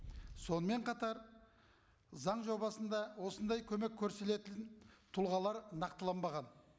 сонымен қатар заң жобасында осындай көмек тұлғалар нақтыланбаған